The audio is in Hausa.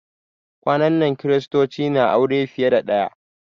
Kwanan nan kiristoci na aure fiye da ɗaya